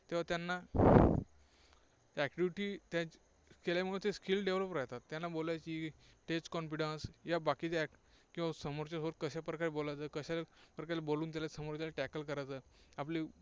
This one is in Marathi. तेव्हा त्यांना activity केल्यामुळे ते skill develop राहतात. त्यांना बोलायला, stage confidence य़ा बाकीच्या, किंवा समोरच्याशी कशा प्रकारे बोलायचे, कशा प्रकारे बोलून समोरच्याला tackle करायचे आपले